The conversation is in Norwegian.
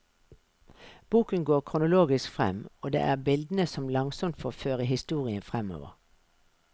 Boken går kronologisk frem, og det er bildene som langsomt får føre historien fremover.